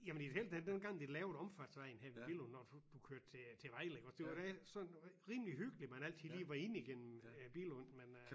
Jamen i det hele taget dengang de lavede omfartsvejen her ved Billund og du kørte til til Vejle iggås der var det sådan rimelig hyggeligt man altid lige var ind igennem øh Billund men øh